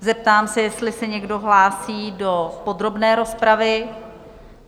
Zeptám se, jestli se někdo hlásí do podrobné rozpravy?